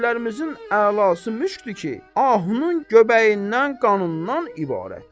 Ətirlərimizin əlası müşdür ki, ahunun göbəyindən, qanından ibarətdir.